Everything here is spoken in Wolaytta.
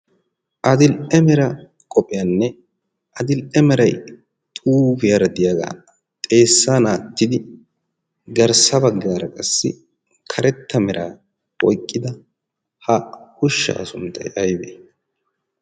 adil'e meranne adil'e meray diya ha garssa bagaara diya ushaa sunttay aybee?